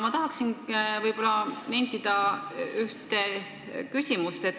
Ma tahan esitada ühe küsimuse.